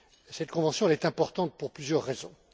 Cette convention est importante pour plusieurs raisons.